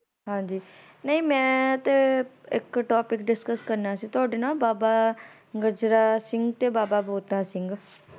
ਹਾਂਜੀ ਨਹੀਂ ਮੈਂ ਤੇ ਇਕ ਟੋਪੀਕ ਡਿਸਕਸ ਕਰਨਾ ਸੀ ਤੁਹਾਡੇ ਨਾਲ ਬਾਬਾ ਗਜਰਾ ਸਿੰਘ ਤੇ ਬਾਬਾ ਬੋਤਾ ਸਿੰਘ